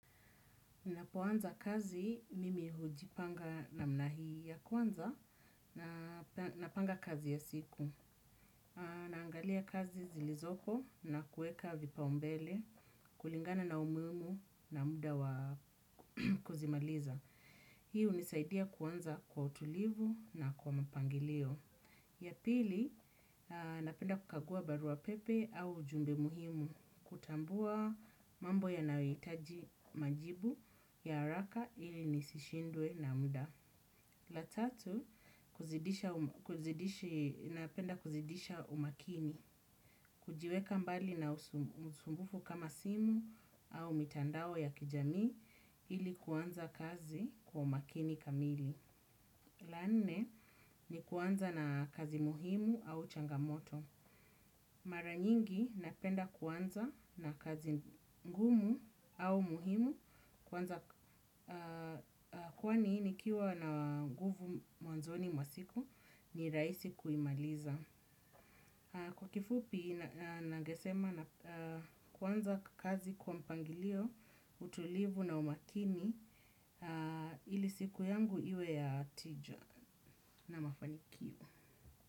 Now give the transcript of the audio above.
Napoanza kazi, mimi hujipanga namna hii ya kwanza napanga kazi ya siku. Naangalia kazi zilizoko na kueka vipaumbele, kulingana na umumu na muda wa kuzimaliza. Hii hunisaidia kuanza kwa utulivu na kwa mpangilio. Ya pili, napenda kukagua barua pepe au ujumbe muhimu kutambua mambo yanayoitaji majibu ya haraka ili nisishindwe na muda. La tatu, napenda kuzidisha umakini, kujiweka mbali na usumbufu kama simu au mitandao ya kijamii ili kuanza kazi kwa umakini kamili. La nne ni kuanza na kazi muhimu au changamoto. Mara nyingi napenda kuanza na kazi ngumu au muhimu kwanza kwani nikiwa na guvu mwanzoni mwa siku ni raisi kuimaliza. Kwa kifupi nangesema kuanza kazi kwa mpangilio, utulivu na umakini ili siku yangu iwe ya tija na mafanikio.